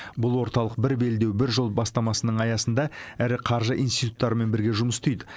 бұл орталық бір белдеу бір жол бастамасының аясында ірі қаржы институттарымен бірге жұмыс істейді